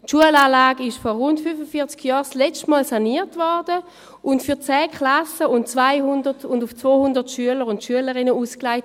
Die Schulanlage wurde vor rund 45 Jahren zum letzten Mal saniert und dabei auf 10 Klassen und 200 Schülerinnen und Schüler ausgelegt.